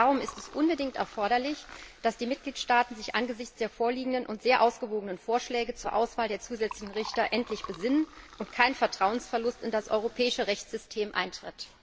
Darum ist es unbedingt erforderlich, dass die Mitgliedstaaten sich angesichts der vorliegenden und sehr ausgewogenen Vorschläge zur Auswahl der zusätzlichen Richter endlich besinnen und kein Vertrauensverlust in das europäische Rechtssystem eintritt!